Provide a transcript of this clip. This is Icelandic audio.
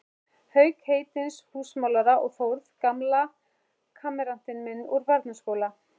Hauks heitins húsamálara og Þórð, gamla kammeratinn minn úr barnaskóla.